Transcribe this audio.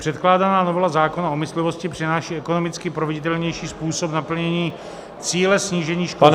Předkládaná novela zákona o myslivosti přináší ekonomicky proveditelnější způsob naplnění cíle snížení škod zvěří -